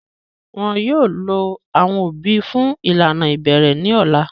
Wọn yóò lo awọn obì fun ilana ibẹrẹ ni ọla.